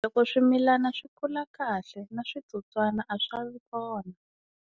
Loko swimilana swi kula kahle na switsotswana a swi va ngi kona.